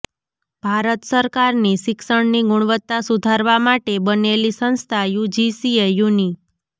ભારત સરકારની શિક્ષણની ગુણવત્તા સુધારવા માટે બનેલી સંસ્થા યુજીસીએ યુનિ